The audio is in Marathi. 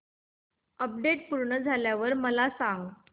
अपडेट पूर्ण झाल्यावर मला सांग